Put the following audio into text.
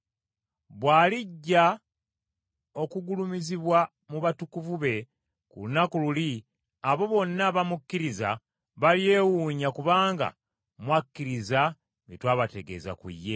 Bw’alijja okugulumizibwa mu batukuvu be ku lunaku luli abo bonna abamukkiriza balyewuunya kubanga mwakkiriza bye twabategeeza ku ye.